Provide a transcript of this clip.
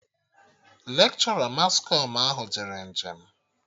Lekshọra mas kọm ahụ jere njem